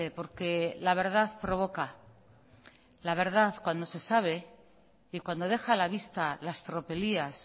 porque la verdad provoca la verdad cuando se sabe y cuando deja a la vista las tropelías